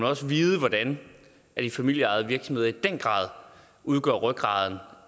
også vide hvordan de familieejede virksomheder i den grad udgør rygraden